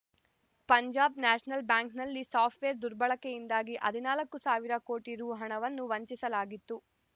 Punjab national ಬ್ಯಾಂಕ್‌ನಲ್ಲಿ software ದುರ್ಬಳಕೆಯಿಂದಾಗಿ ಹದಿನಾಲ್ಕು ಸಾವಿರ ಕೋಟಿ ರೂಹಣವನ್ನು ವಂಚಿಸಲಾಗಿತ್ತು